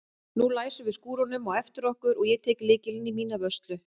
Nú læsum við skúrnum á eftir okkur og ég tek lykilinn í mína vörslu.